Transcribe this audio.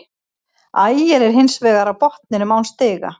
Ægir er hins vegar á botninum án stiga.